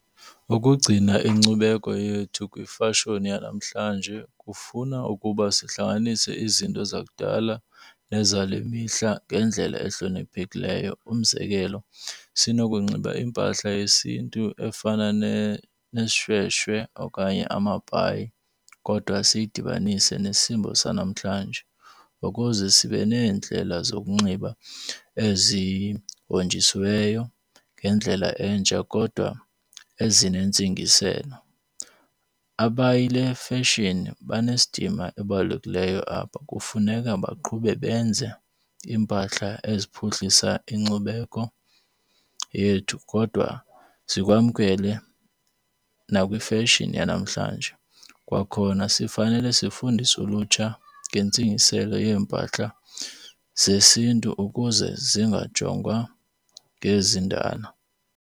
Ukugcina inkcubeko yethu kwifashoni yanamhlanje kufuna ukuba sihlanganise izinto zakudala nezale mihla ngendlela ehloniphekileyo. Umzekelo, sinokunxiba impahla yesiNtu efana neshweshwe okanye amabhayi kodwa siyidibanise nesimo sanamhlanje ukuze sibe neendlela zokunxiba ezihonjisiweyo ngendlela entsha kodwa ezinentsingiselo. Abayili befeshini banesidima ebalulekileyo apha. Kufuneka baqhube benze iimpahla eziphuhlisa inkcubeko yethu kodwa sikwamkele nakwifeshini yanamhlanje. Kwakhona sifanele sifundise ulutsha ngentsingiselo yeempahla zesiNtu ukuze zingajongwa ngezindala.